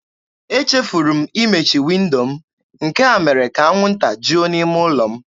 Echefuru m imechi windo m, nke a mere ka anwụnta juo n'ime ụlọ m.